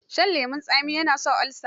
Shin lemon tsami ya sa olsa?